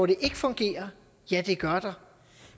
det ikke fungerer ja det gør der